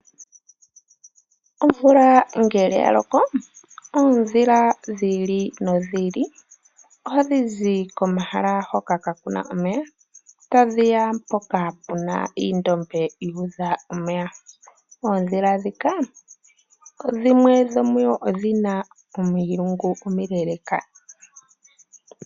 Omvula ngele ya loko oondhila dhi ili nodhi ili ohadhi zi komahala hono kaa kuna omeya mpoka puna oondombe dhuudha omeya. Oondhila dhika dhimwe odhina omilungu omile.